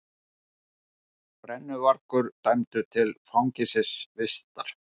Brennuvargur dæmdur til fangelsisvistar